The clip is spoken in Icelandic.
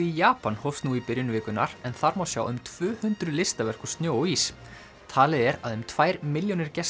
í Japan hófst nú í byrjun vikunnar en þar má sjá um tvö hundruð listaverk úr snjó og ís talið er að um tvær milljónir gesta